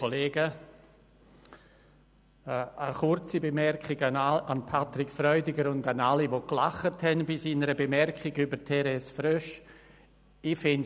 Eine kurze Bemerkung zuhanden von Patrick Freudiger und zuhanden aller, die bei seiner Bemerkung über Therese Frösch gelacht haben.